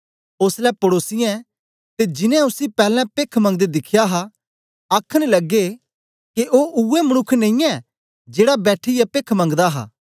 ओसलै पड़ोसीयें ते जिनैं उसी पैलैं पेख्ख मंगदे दिख्या हा आखन लगे के ओ उवै मनुक्ख नेई ऐ जेड़ा बैठीयै पेख्ख मंगदा हा